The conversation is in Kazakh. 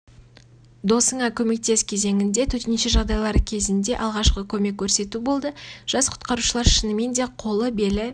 досыңа көмектес кезеңінде төтенше жағдайлар кезінде алғашқы көмек көрсету болды жас құтқарушылар шынымен де қолы белі